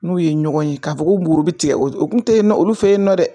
N'u ye ɲɔgɔn ye k'a fɔ ko woro bi tigɛ o kun te yen nɔ olu fe yen nɔ dɛ